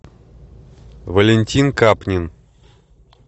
валентин капнин